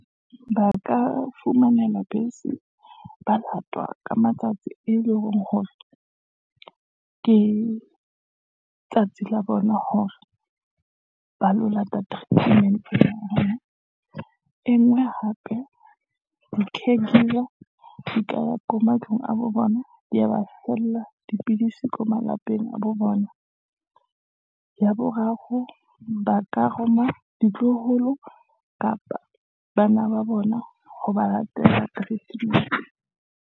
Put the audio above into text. Ba ka fumanelwa bese, ba lata ka matsatsi e leng hore ke tsatsi la bona hore , ba lo lata treatment, e nngwe hape di-care giver , di ka ya ko matlong a bo bona, di ya ba fella dipidisi ko malapeng a bo bona. Ya boraro ba ka roma ditloholo, kapa bana ba bona ha ba latela treatment.